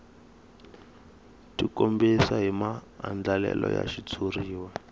tikombisa hi maandlalelo ya xitshuriwa